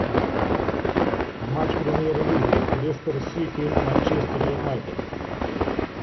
матч премьер лиги лестер сити манчестер юнайтед